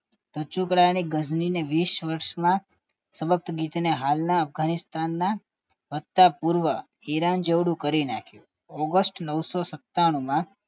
ટચુકડાને ગજની વીસ વરસમાં તબકગીતના હાલના અફઘાનિસ્તાનના સતાપૂર્વા ઈરાન જેવળું કરી નાખ્યું ઓગસ્ટ નવસો સતાણું માં